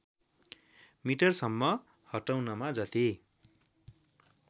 मिटरसम्म हटाउनमा जति